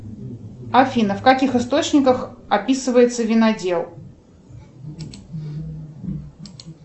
афина в каких источниках описывается винодел